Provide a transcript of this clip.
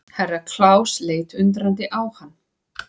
Herra Klaus leit undrandi á hann.